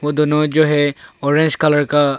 वो दोनों जो है ऑरेंज कलर का--